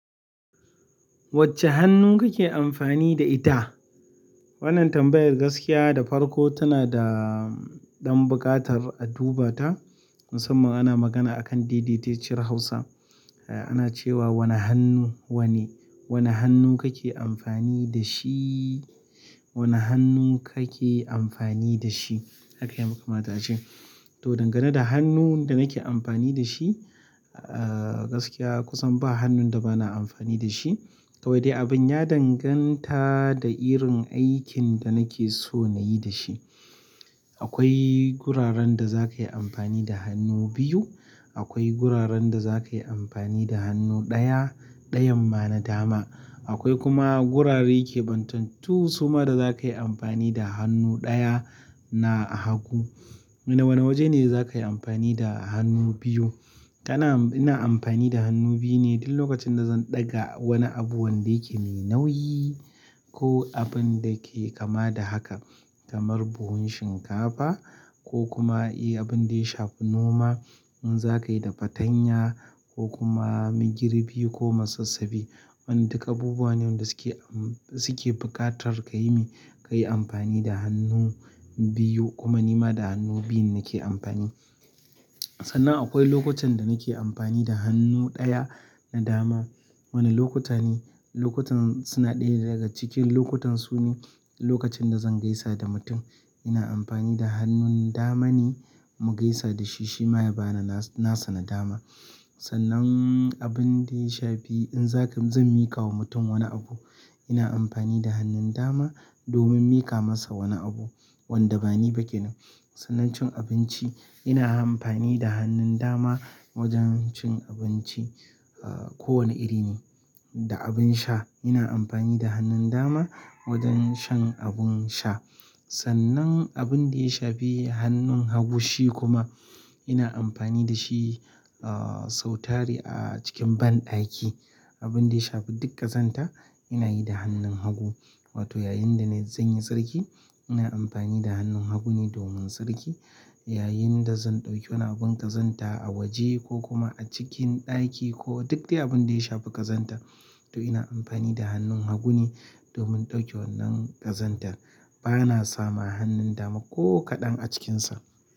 Wacce hannu kake amfani da ita? Wannan tambayar gaskiya da farko tana da, ɗan buƙatar a duba ta. Musamman ana magana akan dai-daiciyar Hausa. Ana cewa wane hannu wane. Wane hannu kake amfani da shi? Wane hannu kake amfani da shi? Haka ya makamata ce. To, dangane da hannun da nake amfani da shi, ah, gaskiya kusan ba hannun da bana amfani da shi. Kawai dai abin ya danganta da irin aikin da nake so na yi da shi. Akwai guraren da za ka yi amfani da hannu biyu. Akwai guraren da za ka yi amfani da hannu ɗaya, ɗayan ma na dama. Akwai kuma gurare ke ɓantattu suma da za ka yi amfani da hannu ɗaya, na hagu. Wane, wane waje ne za ka yi amfani da hannu biyu? Kana-- ina amfani da hannu biyu ne duk lokacin da zan ɗaga wani abu wanda yake mai nauyi, ko abun da ke kama da haka. Kamar buhun shinkafa ko kuma, eh, abin da ya shafi noma. In za ka yi da fatanya ko kuma migirbi ko masassafi. Wannan duka abubuwa ne wanda suke am-- suke buƙatar ka yi mi-- ka yi amfani da hannu biyu. Kuma ni ma da hannu biyu nike amfani. Sannan akwai lokutan da nake amfani da hannu ɗaya na dama. Wane lokuta ne? Lokutan suna ɗaya daga cikin lokutan su ne lokacin da zan gaisa da mutum. Ina amfani da hannun dama ne. Mu gaisa da shi, shi ma ya bani na, na sani dama. Sannan abin da ya shafi in za ka-- zan miƙa wa mutum wani abu, ina amfani da hannun dama, domin miƙa masa wani abu, wanda bani ba kenan. Sannan cin abinci, ina amfani da hannun dama wajen cin abinci, a, kowane iri ne. Da abin sha, ina amfani da hannun dama wajen shan abun sha. Sannan abin da ya shafi hannun hagu shi kuma, ina amfani da shi, ah, sautari a cikin banɗaki. Abin da ya shafi duk ƙazanta ina yi da hannun hagu. Wato, yayin da na-- zan yi sarki, ina amfani da hannun hagu ne domin tsarki. Yayin da zan ɗauki wani abun ƙazanta a waje ko kuma a cikin ɗaki, ko duk dai abin da ya shafi ƙazanta, to ina amfani da hannun hagu ne, domin in ɗauke wannan ƙazantar. Bana sama hannun dama ko kaɗan a cikin sa.